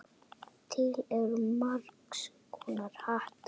Til eru margs konar hattar.